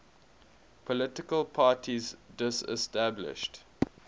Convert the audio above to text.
political parties disestablished